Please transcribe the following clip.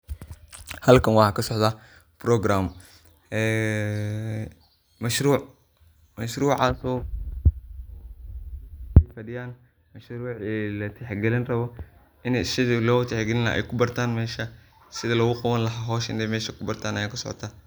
Halkan waxa kasocda program mashruc, mashrucas oo fadiyan mashruci latix galini rabo, ini sidhi lo tix galini laha ay kubartan mesha sidhi logu qabani laha hosha inay kubartan aya mesha kasocota.